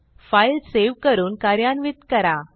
file save करून कार्यान्वित करा